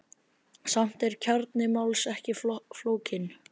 Samt er kjarni máls ekki flókinn.